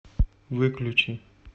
выключи